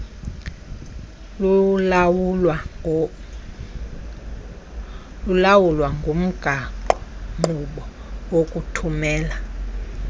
kulawulwa ngumgaqonkqubo wokuthumela